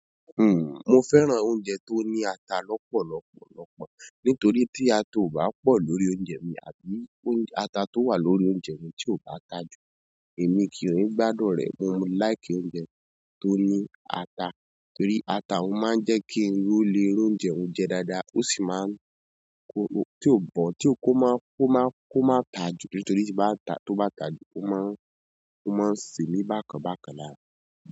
Uhm, mo fẹ́ràn oúnjẹ tó ní ata lọ́pọ̀lọ́pọ̀lọ́pọ̀ nítorí tí ata ò bá pọ̀ lórí oúnjẹ mi àbí oúnjẹ-- ata tó wà lórí oúnjẹ mi tí ò bá ta jù, èmi kí on gbaàdùn rẹ̀. Mo like oúnjẹ tó ní ata torí ata òun máa ń jẹ́ kí irú lé irú oúnjẹ óún jẹ dáadáa, ó sì máa ń koro tí ò bọ̀, tí ò kó máa kó máa kó máa ta jù nítorí tí bá ta tó bá ta jù ó máa ń ó máa ń se mí bákan bákan lára.